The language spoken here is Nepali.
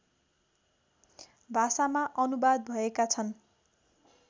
भाषामा अनुवाद भएका छन्